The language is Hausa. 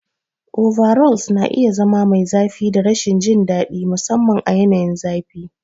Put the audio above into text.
Overalls na iya zama mai zafi da rashin jin daɗi, musamman a yanayin zafi.